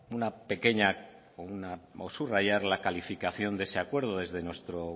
una pequeña cosa a subrayar la calificación de ese acuerdo desde nuestro